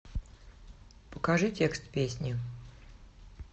покажи текст песни